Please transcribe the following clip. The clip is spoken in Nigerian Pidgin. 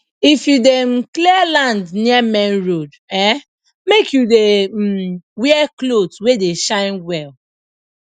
if you dey um clear land near main road um make you dey um wear cloth wey dey shine well